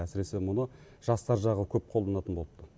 әсіресе мұны жастар жағы көп қолданатын болыпты